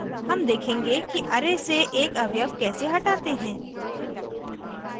हम देखेंगे कि array से एक अवयव कैसे हटाते हैं